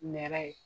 Nɛrɛ ye